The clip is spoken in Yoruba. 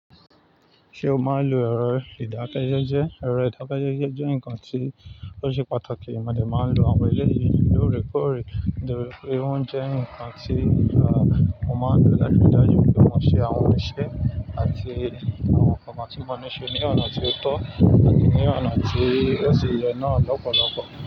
Ṣé o ma n lo ẹrọ ìdákẹ́jẹ́jẹ́? Ẹrọ ìdákẹ́jẹ́jẹ́ jẹ́ nǹkan tí ó ṣe pàtàkì. Mo dẹ́ máa ń lo àwọn èléyìí lóòrèkóòrè. Òòrèkóòrè ń jẹ́ ǹkan tí àwọn ọmọ àgbà láti dájú pé wọ́n ṣe àwọn iṣẹ́ àti àwọn ọkọ̀ máa tí wọ́n ṣe ní ọ̀nà tí ó tọ́ àti ní ọ̀nà tí ó ṣe ìrẹ̀na lọ́pọ̀lọpọ̀.